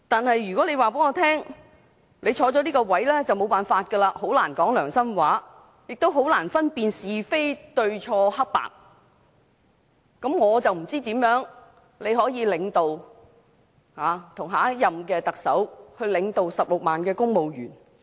然而，如果他告訴我，他擔任這個職位就很難說良心話，亦很難分辨是非、明辨黑白對錯，我就不知他怎能與下任特首一起領導16萬名公務員。